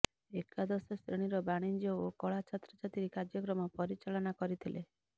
ଏକାଦଶ ଶ୍ରେଣୀର ବାଣିଜ୍ୟ ଓ କଳା ଛାତ୍ରଛାତ୍ରୀ କାର୍ଯ୍ୟକ୍ରମ ପରିଚାଳନା କରିଥିଲେ